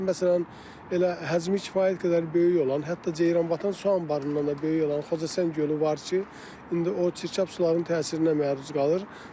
Məsələn, elə həcmi kifayət qədər böyük olan, hətta Ceyranbatan su anbarından da böyük olan Xocəsən gölü var ki, indi o çirkab sularının təsirinə məruz qalır.